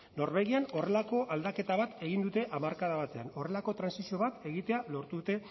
norvegian horrelako aldaketa bat egin dute hamarkada batean horrelako trantsizio bat egitea lortu dute